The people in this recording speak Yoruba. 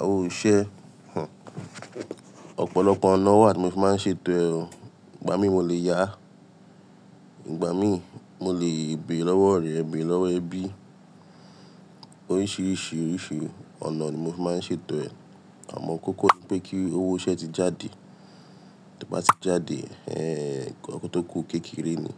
Àwo iṣẹ́, ọ̀pọ̀lọpọ̀ ọ̀nà wà tí mo máa ń ṣe ètò ẹ̀. Ìgbà mí mo lè yá, Ìgbà mí mo lè bé lọ́wọ́ ọ̀rẹ́, bé lọ́wọ́ ẹbí. Oríṣiríṣi ọ̀nà ni mo fi máa ń ṣe ètò ẹ̀. Àmọ́ kókó ni pé kí owó iṣẹ́ ti jáde. Tí ó bá ti jáde, ẹ́, nǹkan tó kù kékeré ni.